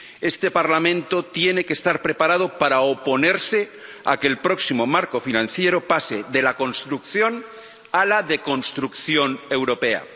Este Parlamento tiene que estar preparado para oponerse a que el próximo marco financiero pase de la construcción a la deconstrucción europea.